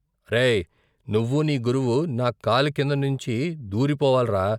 అరేయ్ నువ్వూ నీ గురువూ నా కాలి కింద నుంచి దూరిపోవాల్రా!